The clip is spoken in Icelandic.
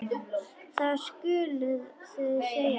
Það skuluð þið segja honum!